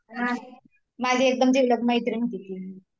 माझी एकदम जिवलग मैत्रिण होती ती